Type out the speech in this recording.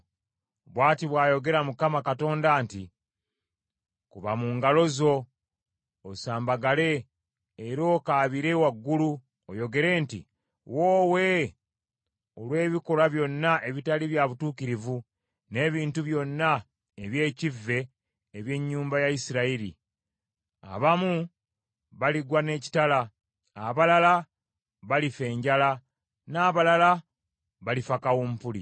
“ ‘Bw’ati bw’ayogera Mukama Katonda nti, Kuba mu ngalo zo, osambagale era okaabire waggulu oyogere nti, “Woowe”; olw’ebikolwa byonna ebitali bya butuukirivu n’ebintu byonna eby’ekkive eby’ennyumba ya Isirayiri; abamu baligwa n’ekitala, abalala balifa enjala, n’abalala balifa kawumpuli.